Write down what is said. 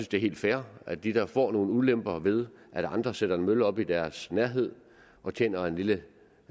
det er helt fair at de der får nogle ulemper ved at andre sætter en mølle op i deres nærhed tjener en lille